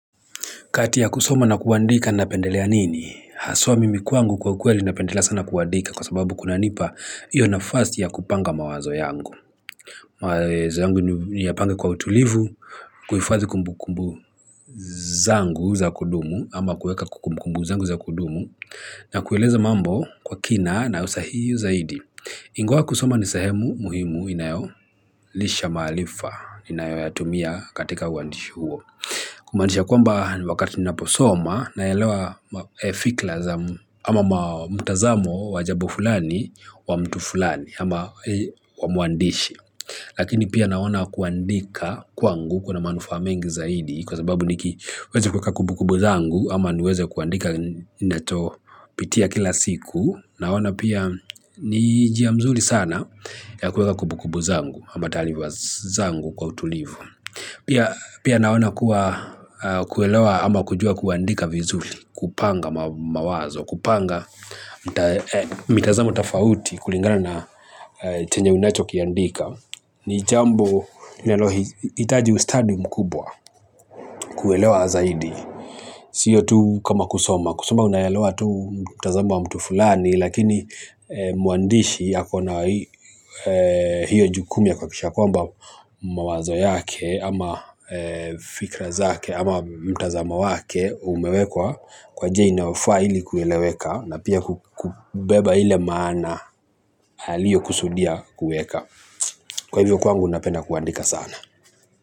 Kati ya kusoma na kuandika na pendelea nini? Haswa mimi kwangu kwa ukweli na pendelea sana kuandika kwa sababu kuna nipa iyo nafasi ya kupanga mawazo yangu. Mawezo yangu niyapange kwa utulivu, kuhifadhi kumbu kumbu zangu za kudumu ama kueka kumbu kumbu zangu za kudumu na kueleza mambo kwa kina na usahihu zaidi. Ingawa kusoma ni sehemu muhimu inayo lisha maalifa inayo yatumia katika uandishi huo. Kumanisha kwamba wakati nina posoma na yaelewa fikla za ama mtazamo wajabo fulani wa mtu fulani ama wa muandishi. Lakini pia naona kuandika kwa ngu kuna manufa mengi zaidi kwa sababu niki weza kuweka kubukubu zangu ama niweze kuandika ninacho pitia kila siku. Naona pia ni jia mzuri sana ya kuweka kubukubu zangu ama talifa zangu kwa utulivu. Pia naona kuwa kuelewa ama kujua kuandika vizuli kupanga mawazo. Kupanga mitazamu tofauti kulingana na chenye unacho kiandika. Ni jambo linaloitaji ustadi mkubwa kuelewa zaidi. Siyo tu kama kusoma kusoma unaelewa tu mtazamo wa mtu fulani. Lakini muandishi ako na hiyo jukumu ya kuhakikisha kwamba mawazo yake ama fikra zake ama mtazamo wake umewekwa kwa jia inayofaa hili kueleweka na pia kubeba ile maana liyo kusudia kueka kwa hivyo kwangu napenda kuandika sana.